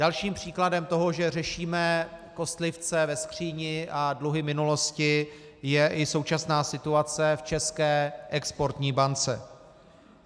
Dalším příkladem toho, že řešíme kostlivce ve skříni a dluhy minulosti, je i současná situace v České exportní bance.